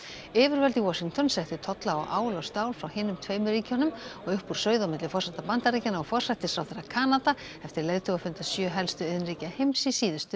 yfirvöld í Washington settu tolla á ál og stál frá hinum tveimur ríkjunum og uppúr sauð á milli forseta Bandaríkjanna og forsætisráðherra Kanada eftir leiðtogafund sjö helstu iðnríkja heims í síðustu